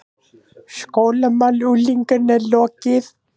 SKÓLAMÁL UNGLINGA LOKIÐ